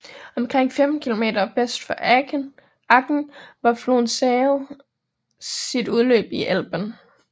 Omkring 15 km vest for Aken har floden Saale sit udløb i Elben